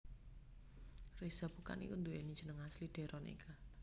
Reza Bukan iku nduweni jeneng asli Deron Eka